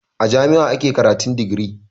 A jami'a ake karatun digiri